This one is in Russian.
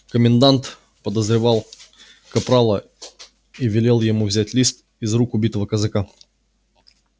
комендант подозревал капрала и велел ему взять лист из рук убитого казака